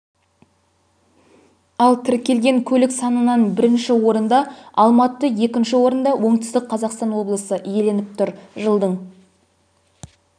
ал тіркелген көлік санынан бірінші орында алматы екінші орынды оңтүстік қазақстан облысы иеленіп тұр жылдың